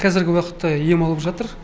қазіргі уақытта ем алып жатыр